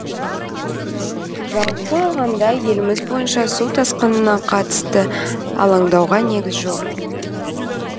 жалпы алғанда еліміз бойынша су тасқынына қатысты алаңдауға негіз жоқ